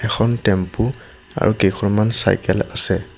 এখন টেম্পু আৰু কেইখনমান চাইকেল আছে।